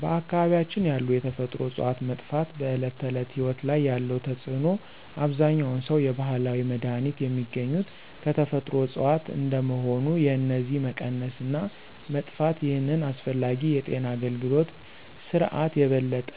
በአካባቢያችን ያሉ የተፈጥሮ እፅዋት መጥፋት በዕለት ተዕለት ሕይወት ላይ ያለው ተጽዕኖ አብዛኛውን ሰው የባህላዊ መድሃኒት የሚገኙት ከተፈጥሮ እጽዋት እንደመሆኑ የነዚህ መቀነስ እና መጥፋት ይህንን አስፈላጊ የጤና አገልግሎት ስርዓት የበለጠ